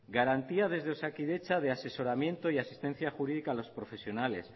garantía desde osakidetza de asesoramiento y asistencia jurídica a los profesionales